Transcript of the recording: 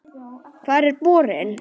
Hvar er borinn?